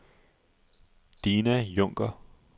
Dina Junker